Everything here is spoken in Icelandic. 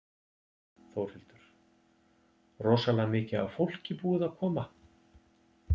Þórhildur: Rosalega mikið af fólki búið að koma?